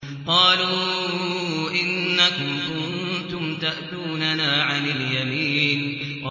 قَالُوا إِنَّكُمْ كُنتُمْ تَأْتُونَنَا عَنِ الْيَمِينِ